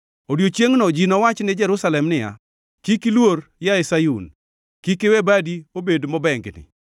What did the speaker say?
Odiechiengʼno ji nowach ni Jerusalem niya, “Kik iluor, yaye Sayun, kik iwe badi obed mobengni.